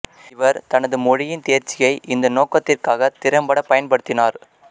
இவர் தனது மொழியின் தேர்ச்சியை இந்த நோக்கத்திற்காகத் திறம்பட பயன்படுத்தினார்